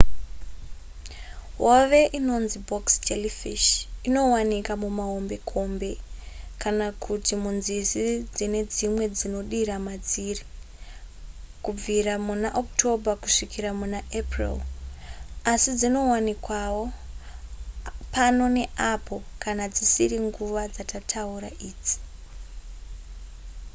hove inonzi box jellyfish inowanika kumahombekombe kana kuti munzizi dzine dzimwe dzinodira madziri kubvira muna october kusvikira muna april asi dzinowanikawo pano neapo kana dzisiri nguva dzatataura idzi